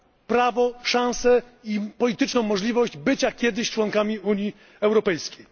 prawo, szansę i polityczną możliwość bycia kiedyś członkami Unii Europejskiej.